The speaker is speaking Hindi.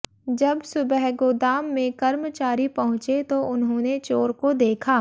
जब सुबह गोदाम में कर्मचारी पहुंचे तो उन्होने चोर को देखा